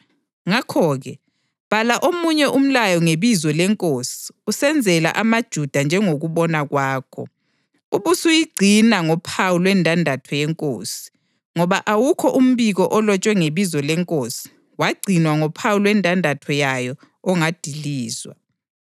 Ngakho-ke bhala omunye umlayo ngebizo lenkosi usenzela amaJuda njengokubona kwakho, ubusuyingcina ngophawu lwendandatho yenkosi, ngoba awukho umbiko olotshwe ngebizo lenkosi wangcinwa ngophawu lwendandatho yayo ongadilizwa.”